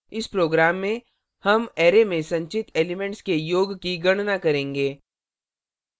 इस program में sum array में संचित elements के योग की गणना करेंगे